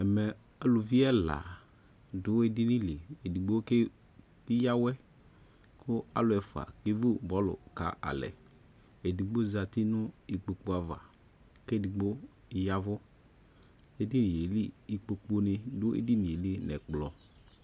Ɛmɛ aluvi ɛla do edini liEdigbo ke yia awɛ ko alu ɛfua kevu bɔlu ka alɛ Edigbo zati no ilpokpu ava ke edigbo yavuEdinie li ikpokpu ne do edinie li nɛkplɔ